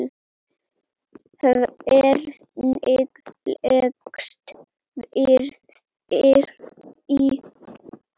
Hvernig leggst ferðin í þig?